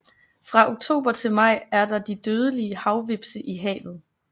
Fra oktober til maj er der de dødelige havhvepse i havet